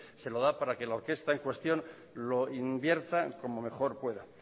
se lo da para que la orquesta en cuestión lo invierta como mejor pueda